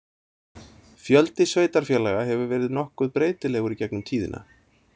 Fjöldi sveitarfélaga hefur verið nokkuð breytilegur í gegnum tíðina.